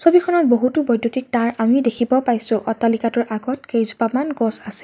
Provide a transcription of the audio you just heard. ছবিখনত বহুতো বৈদুত্যিক তাঁৰ আমি দেখিব পাইছোঁ অট্টালিকাটোৰ আগত কেইজোপামান গছ আছে।